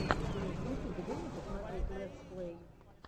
в ютубе дай мне посмотреть лэтс плэй